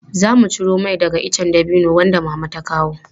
Zamu ciro mai daga ice dabino wanda Mama ta kawo.